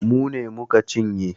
Mu ne mu ka cinye.